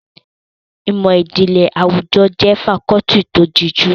Ìmọ̀ ìjìnlẹ̀ àwùjọ jẹ́ fakọ́ọ́tì tó díjú.